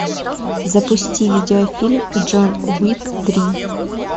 запусти видеофильм джон уик три